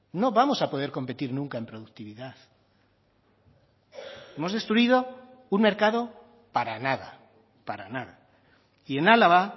no vamos a poder competir nunca en productividad hemos destruido un mercado para nada para nada y en álava